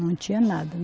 Não tinha nada.